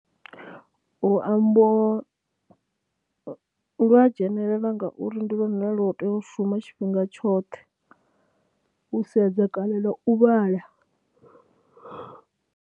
Luambo lu a dzhenelela ngauri ndi lune lwa tea u shuma tshifhinga tshoṱhe u sedza kana na u vhala.